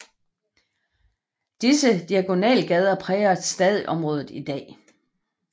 Disse diagonalgader præger stadig området i dag